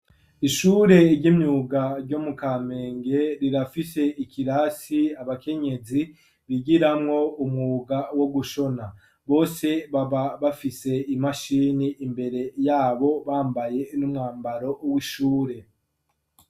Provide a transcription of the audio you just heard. Ishure ry'imyuga ryo mu Kamenge, rirafise ikirasi abakenyezi bigiramwo umwuga wo gushona. Bose baba bafise imashini imbere yabo, bambaye n'umwambaro w'ishure.